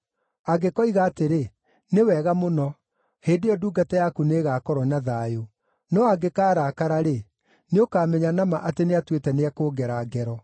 Angĩkoiga atĩrĩ, ‘Nĩ wega mũno,’ hĩndĩ ĩyo ndungata yaku nĩĩgakorwo na thayũ. No angĩkaarakara-rĩ, nĩũkamenya na ma atĩ nĩatuĩte nĩekũngera ngero.